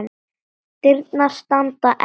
Dyrnar standa enn opnar.